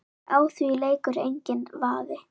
Á því leikur enginn vafi.